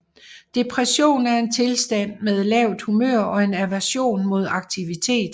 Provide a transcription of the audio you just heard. Depression er en tilstand med lavt humør og en aversion mod aktivitet